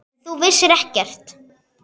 En þú vissir ekkert.